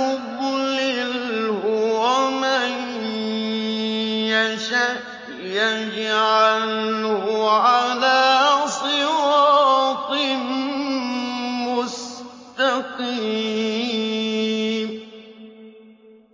يُضْلِلْهُ وَمَن يَشَأْ يَجْعَلْهُ عَلَىٰ صِرَاطٍ مُّسْتَقِيمٍ